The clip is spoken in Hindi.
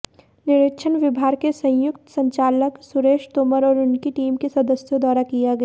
निरीक्षण विभाग के संयुक्त संचालक सुरेश तोमर और उनकी टीम के सदस्यों द्वारा किया गया